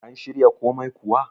an shirya komai kuwa?